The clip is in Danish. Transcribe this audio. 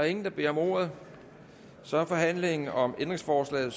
ingen der beder om ordet så er forhandlingen om ændringsforslagene